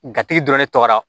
dɔrɔn ne tɔgɔ la